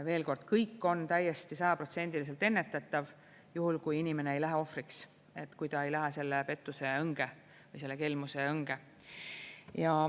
Veel kord, kõik on täiesti sajaprotsendiliselt ennetatav, juhul kui inimene ei lähe ohvriks, kui ta ei lähe selle pettuse õnge või selle kelmuse õnge.